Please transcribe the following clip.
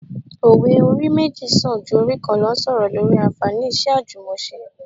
Òwe 'orí méjì sàn ju orí kan lọ' ń sọ̀rọ̀ lórí anfààní iṣẹ́ àjùmọse